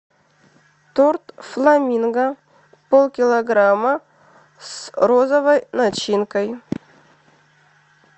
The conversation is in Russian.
торт фламинго пол килограмма с розовой начинкой